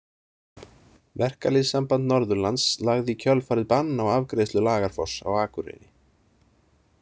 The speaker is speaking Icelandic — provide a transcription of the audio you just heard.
Verkalýðssamband Norðurlands lagði í kjölfarið bann á afgreiðslu Lagarfoss á Akureyri.